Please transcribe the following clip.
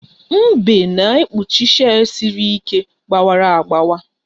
Mbe na-ekpuchi shei siri ike gbawara agbawa